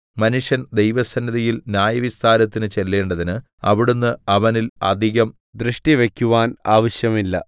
മനുഷ്യൻ ദൈവസന്നിധിയിൽ ന്യായവിസ്താരത്തിന് ചെല്ലേണ്ടതിന് അവിടുന്ന് അവനിൽ അധികം ദൃഷ്ടിവക്കുവാൻ ആവശ്യമില്ല